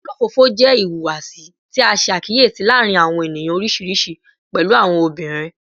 Olofofo jẹ ihuwasi ti a ṣe akiyesi laarin awọn eniyan oriṣiriṣi, pẹlu awọn obinrin